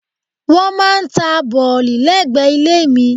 Wọ́n máà ń ta bọ̀lì lẹ́gbẹ̀ẹ́ ilé mi.